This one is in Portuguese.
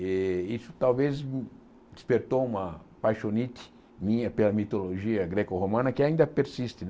E isso talvez despertou uma paixonite minha pela mitologia greco-romana, que ainda persiste né.